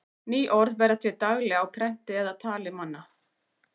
Ný orð verða til daglega á prenti eða í tali manna.